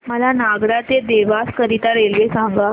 मला नागदा ते देवास करीता रेल्वे सांगा